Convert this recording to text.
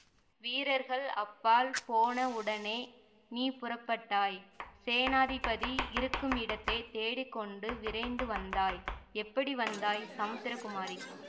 வீரர்கள் அப்பால் போன உடனே நீ புறப்பட்டாய் சேநாதிபதி இருக்குமிடத்தைத் தேடி கொண்டு விரைந்து வந்தாய் எப்படி வந்தாய் சமுத்திரகுமாரி